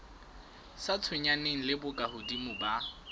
sa tshwenyaneng le bokahodimo ba